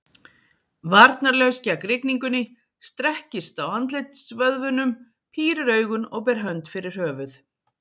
Varnarlaus gegn rigningunni, strekkist á andlitsvöðvunum, pírir augun og ber hönd fyrir höfuð.